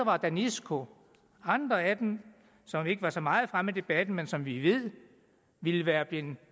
og danisco og andre af dem som ikke var så meget fremme i debatten men som vi ved ville være blevet